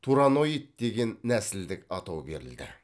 тураноид деген нәсілдік атау берілді